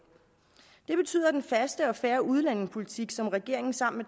det betyder at den faste og fair udlændingepolitik som regeringen sammen